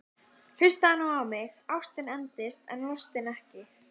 Hlustaðu nú á mig: Ástin endist en lostinn ekki!